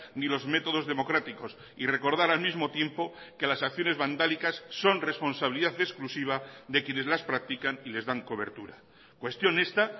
ni los métodos democráticos y recordar al mismo tiempo que las acciones vandálicas son responsabilidad exclusiva de quienes las practican y les dan cobertura cuestión esta